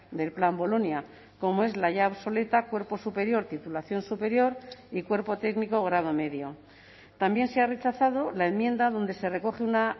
del plan bolonia como es la ya obsoleta cuerpo superior titulación superior y cuerpo técnico grado medio también se ha rechazado la enmienda donde se recoge una